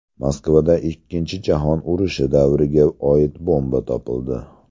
Moskvada Ikkinchi jahon urushi davriga oid bomba topildi.